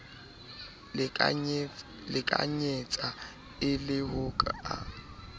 lekanyetsa e le ho ka